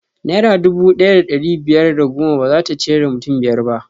Naira dubu ɗaya da ɗari biyar da goma bazata ciyar da mutum biyar ba